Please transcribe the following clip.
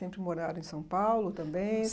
Sempre moraram em São Paulo também?